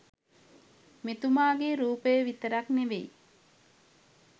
මෙතුමාගේ රූපය විතරක් නෙවෙයි